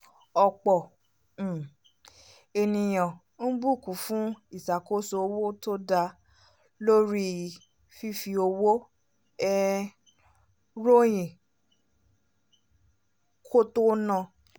ọ̀pọ̀ um ènìyàn ń bùkún fún ìṣàkóso owó tó dá lórí fífi owó um ròyìn kó tó na